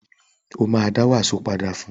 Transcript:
Ó ma dá wàsó padà fún